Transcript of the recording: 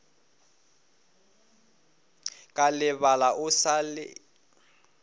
ka lebala o sa le